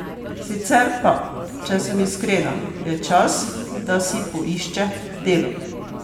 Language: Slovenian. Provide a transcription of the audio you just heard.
Sicer pa, če sem iskrena, je čas, da si poišče delo!